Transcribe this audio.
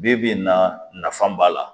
Bi bi in na nafa b'a la